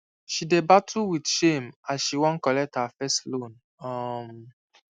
she dey battle with shame as she wan collect her first loan um